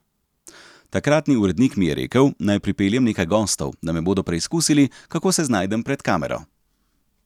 Takratni urednik mi je rekel, naj pripeljem nekaj gostov, da me bodo preizkusili, kako se znajdem pred kamero.